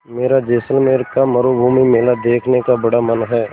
मेरा जैसलमेर का मरूभूमि मेला देखने का बड़ा मन है